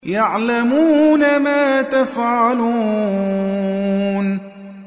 يَعْلَمُونَ مَا تَفْعَلُونَ